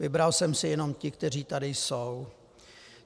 Vybral jsem si jenom ty, kteří tady jsou.